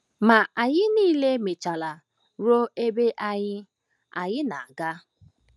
Ma anyị niile mechara ruo ebe anyị anyị na-aga.